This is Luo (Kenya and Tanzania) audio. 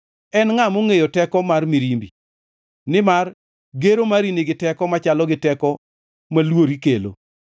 En ngʼa mongʼeyo teko mar mirimbi? Nimar gero mari nigi teko machalo gi teko ma luori kelo.